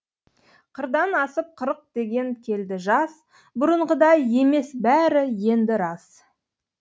қырдан асып қырық деген келді жас бұрынғыдай емес бәрі енді рас